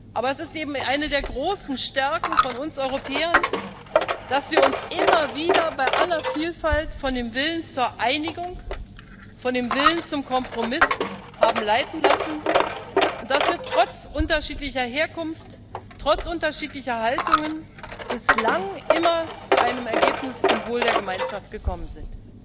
Aber es ist eben eine der großen Stärken von uns Europäern, dass wir uns immer wieder bei aller Vielfalt von dem Willen zur Einigung, von dem Willen zum Kompromiss haben leiten lassen und dass wir trotz unterschiedlicher Herkunft, trotz unterschiedlicher Haltungen bislang immer zu einem Ergebnis zum Wohl der Gemeinschaft gekommen sind.